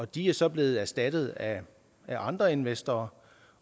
de er så blevet erstattet af andre investorer